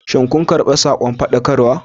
Shin kun karɓi sakon faɗakarwa?